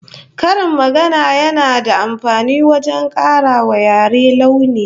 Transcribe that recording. Karin magana yana da amfani wajen kara wa yare launi